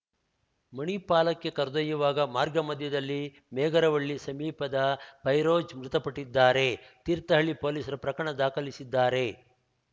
ಮಣಿಪಾಲಕ್ಕೆ ಕರೆದೊಯ್ಯುವಾಗ ಮಾರ್ಗ ಮಧ್ಯದಲ್ಲಿ ಮೇಗರವಳ್ಳಿ ಸಮೀಪದ ಫೈರೋಜ್‌ ಮೃತಪಟ್ಟಿದ್ದಾರೆ ತೀರ್ಥಹಳ್ಳಿ ಪೊಲೀಸರು ಪ್ರಕರಣ ದಾಖಲಿಸಿದ್ದಾರೆ